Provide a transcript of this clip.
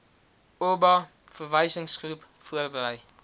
oba verwysingsgroep voorberei